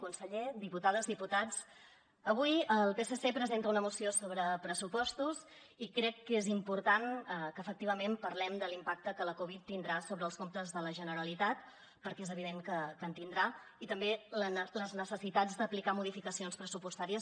conseller diputades diputats avui el psc presenta una moció sobre pressupostos i crec que és important que efectivament parlem de l’impacte que la covid tindrà sobre els comptes de la generalitat perquè és evident que en tindrà i també les necessitats d’aplicar modificacions pressupostàries